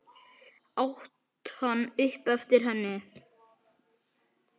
át hann upp eftir henni.